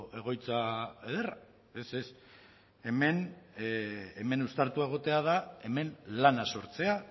egoitza ederra ez ez hemen uztartua egotea da hemen lana sortzea